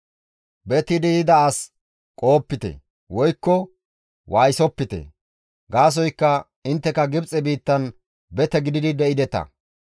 «Betidi yida as qohopite, woykko waayisopite; gaasoykka intteka Gibxe biittan bete gididi de7ideta.